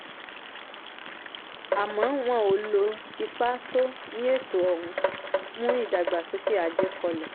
àmọ́ wọ́n ò lò ó ipa tó ní ètò ọ̀hún mú ìdàgbàsókè ajé kọlẹ̀.